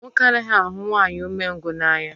Nwoke anaghị ahụ nwanyị umengwụ n'anya